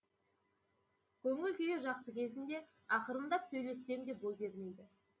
көңіл күйі жақсы кезінде ақырындап сөйлессем де бой бермейді